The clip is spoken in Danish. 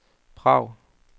Prag